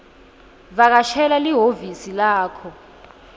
vakashela lihhovisi lakho